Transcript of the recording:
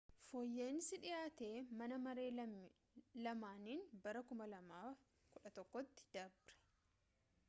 fooyya'iinsi dhihaate mana maree lamaanin bara 2011 tti dabre